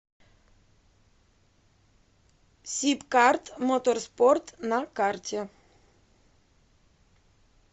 сибкарт моторспорт на карте